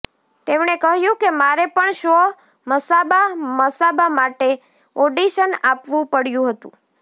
તેમણે કહ્યું કે મારે પણ શો મસાબા મસાબા માટે ઓડિશન આપવું પડ્યું હતું